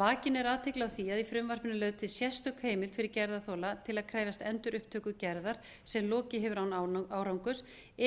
vakin er athygli á því að í frumvarpinu er lögð til sérstök heimild fyrir gerðarþola til að krefjast endurupptöku gerðar sem lokið hefur án árangurs